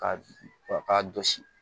Ka k'a jɔsi